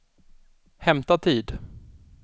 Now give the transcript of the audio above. hämta tid